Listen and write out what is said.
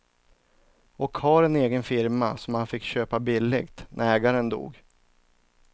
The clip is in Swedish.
Och har en egen firma som han fick köpa billigt när ägaren dog.